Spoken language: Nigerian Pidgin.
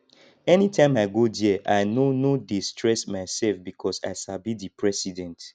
anytime i go there i no no dey stress my self because i sabi the president